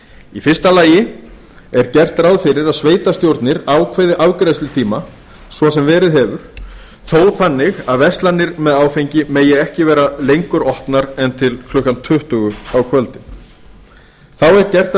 í fyrsta lagi er gert ráð fyrir að sveitarstjórnir ákveði afgreiðslutíma svo sem verið hefur þó þannig að verslanir með áfengi megi ekki vera lengur opnar en til klukkan tuttugu á kvöldin þá er gert að